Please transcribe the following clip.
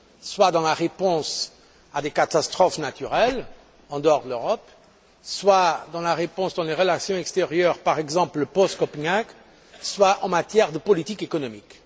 soit dans la réponse à des catastrophes naturelles en dehors de l'Europe, soit dans la réponse à apporter dans le cadre des relations extérieures, par exemple l'après Copenhague, soit en matière de politique économique.